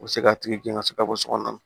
U bɛ se k'a tigi gɛn ka se ka bɔ sokɔnɔ